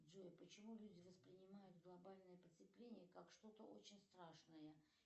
джой почему люди воспринимают глобальное потепление как что то очень страшное